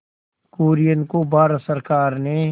कुरियन को भारत सरकार ने